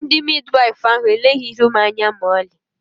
ndi Midiwaifu ahụ eleghị ihu m anya ma ọlị